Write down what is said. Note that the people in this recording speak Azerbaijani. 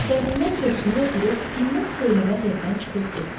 Dərindən köksünü ötürüb dinməz-söyləməz evdən çıxıb getdi.